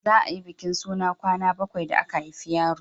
za a yi bikin suna kwana bakwai da aka haifi yaro